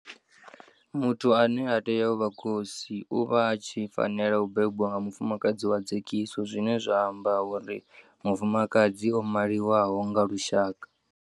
Muthu ane a tea u vha khosi o vha a tshi fanela u bebwa nga mufumakadzi wa dzekiso zwine zwa amba uri mufumakadzi o maliwaho nga lushaka.